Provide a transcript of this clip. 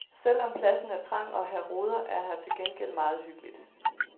Selv om pladsen er trang og her roder, er her til gengæld meget hyggeligt.